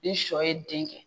Ni sɔ ye den kɛ